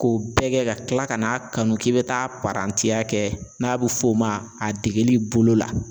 K'o bɛɛ kɛ ka kila ka n'a kanu k'i bɛ taa parantiya kɛ n'a bɛ f'o ma a degeli bolo la